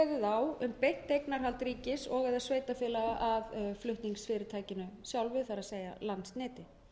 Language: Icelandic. á um beint eignarhald ríkis og eða sveitarfélaga af flutningsfyrirtækinu sjálfu það er landsneti